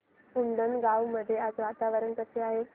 उंडणगांव मध्ये आज वातावरण कसे आहे